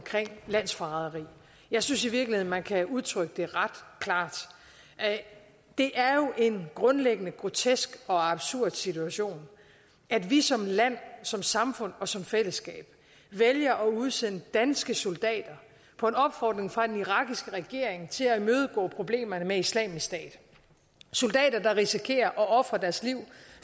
landsforræderi jeg synes i virkeligheden man kan udtrykke det ret klart det er jo en grundlæggende grotesk og absurd situation at vi som land som samfund og som fællesskab vælger at udsende danske soldater på en opfordring fra den irakiske regering til at imødegå problemerne med islamisk stat soldater der risikerer at ofre deres liv